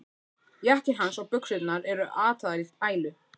Jakkinn hans og buxurnar eru ataðar í ælu.